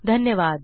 धन्यवाद